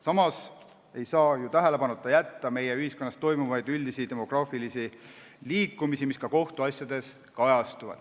Samas ei saa tähelepanuta jätta meie ühiskonnas toimuvaid üldisi demograafilisi muutusi, mis ka kohtuasjades kajastuvad.